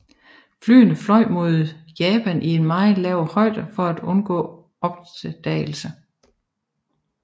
Flyene fløj mod Japan i meget lav højde for at undgå opdagelse